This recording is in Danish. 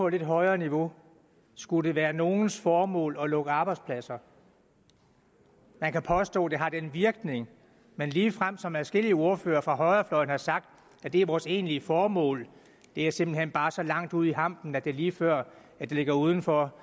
lidt højere niveau skulle det være nogens formål at lukke arbejdspladser man kan påstå at det har den virkning men ligefrem som adskillige ordførere fra højrefløjen har sagt at det er vores egentlige formål er simpelt hen bare så langt ude i hampen at det er lige før det ligger uden for